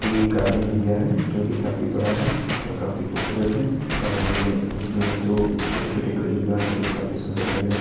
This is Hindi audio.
ये एक गार्डन एरिया है जोकी काफी बड़ा है और काफी खूबसूरत है और ये इसमें दो छोटे-छोटे खजूर गाछ जोकी काफी सुंदर लग रहे हैं।